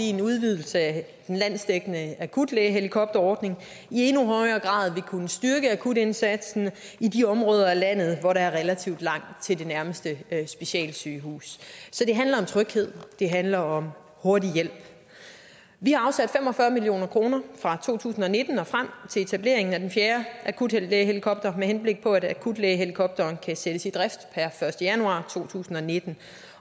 en udvidelse af den landsdækkende akutlægehelikopterordning i endnu højere grad vil kunne styrke akutindsatsen i de områder af landet hvor der er relativt langt til det nærmeste specialsygehus så det handler om tryghed det handler om hurtig hjælp vi har afsat fem og fyrre million kroner fra to tusind og nitten og frem til etableringen af den fjerde akutlægehelikopter med henblik på at akutlægehelikopteren kan sættes i drift per første januar to tusind og nitten